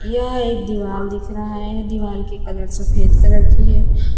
यह एक दीवाल दिख रहा है दीवाल की कलर सफेद कलर की है।